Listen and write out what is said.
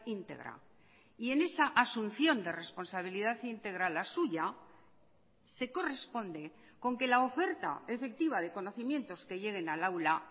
íntegra y en esa asunción de responsabilidad íntegra la suya se corresponde con que la oferta efectiva de conocimientos que lleguen al aula